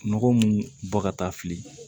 Nɔgɔ mun bɔ ka taa fili